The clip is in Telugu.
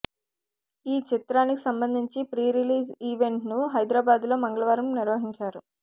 ఈ చిత్రానికి సంబంధించి ప్రీ రిలీజ్ ఈవెంట్ను హైదరాబాద్ లో మంగళవారం నిర్వహించారు